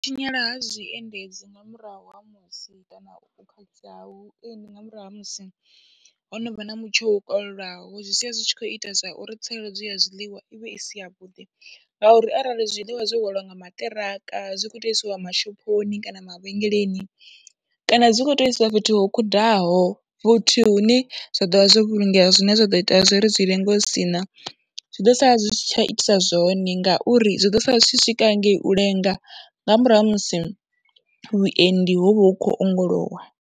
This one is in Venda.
Tshinyala ha zwiendedzi nga murahu ha musi kana u khakhisea ha vhuendi nga murahu ha musi ho no vha na mutsho wo kalulaho, zwi sia zwi tshi khou ita zwa uri tsireledzo ya zwiḽiwa i vhe i si yavhuḓi ngauri arali zwiḽiwa zwe hwaliwa nga maṱiraka, zwi khou tou isiwa mashophoni kana mavhengeleni kana dzi khou tea u isiwa fhethu ho khudaho fhethi hune zwa ḓo vha zwo vhulungea, zwine zwa ḓo ita zwo ri zwi lenge u si na, zwi ḓo sala zwi si tsha itisa zwone ngauri zwi ḓo sala zwi tshi swika hangei u lenga nga murahu ha musi vhuendi ho vha hu khou ongolowa.